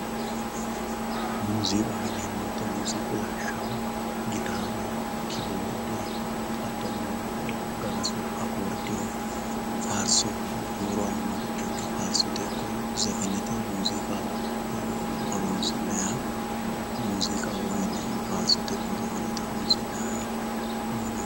muuziiqaho yineemmo woyiite muuziiqu lawishshaho gitaare kiboorde hattono gagasu akoordiyo faarso huuro aannoricho ikke faarsote ikko zefenete muuziiqa horoonsi'nanniha muuziiqaho yine faarsote ikko zefenete horoonsi'nayha yineemmo.